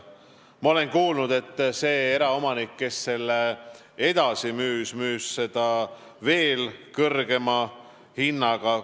Ma olen kuulnud, et eraomanik, kes selle edasi müüs, tegi seda veel kõrgema hinnaga.